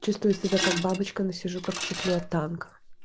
чувствую себя как бабочка но сижу как в чехле от танка